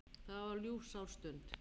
Það var ljúfsár stund.